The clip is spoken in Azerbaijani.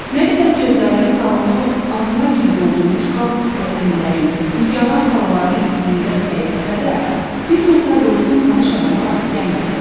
Nə qədər gözlərini salonu ağzına kimi doldurmuş qaztuklu əmilərin, nigaran xalaların üzündə səyrittsə də, bir nəfər də olsun tanış adama rast gəlmədi.